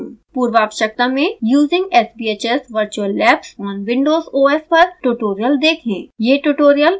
पूर्वावश्यकता में using sbhs virtual labs on windows os पर tutorial देखें